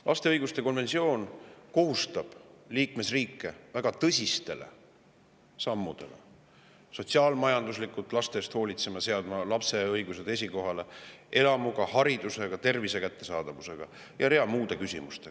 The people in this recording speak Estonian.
Laste õiguste konventsioon kohustab liikmesriike väga tõsisteks sammudeks: hoolitsema sotsiaalmajanduslikult laste eest, seadma lapse õigused esikohale, talle elukoha ja hariduse ning tervise kättesaadavuse.